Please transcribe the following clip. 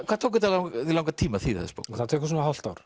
hvað tók þetta þig langan tíma að þýða þessa bók það tekur svona hálft ár